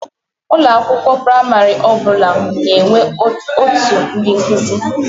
Ụlọ akwụkwọ praịmarị ọ bụla na-enwe ọtụ ndị nkụzi.